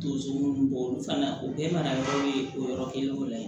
Donso ninnu bɔ olu fana o bɛɛ fana dɔw ye o yɔrɔ kelen dɔ la yen